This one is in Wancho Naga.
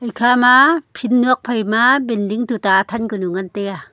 ekha ma phin nuak phaima binding tuta athan kanu ngan taiya.